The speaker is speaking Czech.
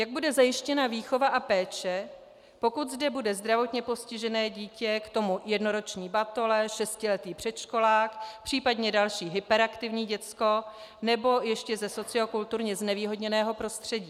Jak bude zajištěna výchova a péče, pokud zde bude zdravotně postižené dítě, k tomu jednoroční batole, šestiletý předškolák, případně další hyperaktivní děcko nebo ještě ze sociokulturně znevýhodněného prostředí?